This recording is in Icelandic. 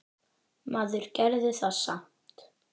Maður gerði það samt.